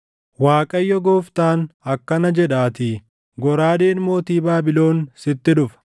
“‘ Waaqayyo Gooftaan akkana jedhaatii: “ ‘Goraadeen mootii Baabilon sitti dhufa.